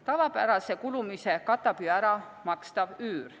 Tavapärase kulumise katab ära makstav üür.